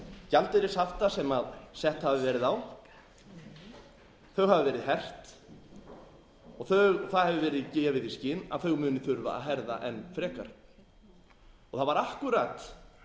gjaldeyrishafta sem sett hafa verið á þau hafa verið hert og það eftir verið gefið í skyn að þau muni þurfa að herða enn frekar það var akkúrat